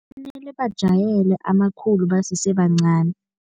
Kumele bajayele amakhulu basesebancani.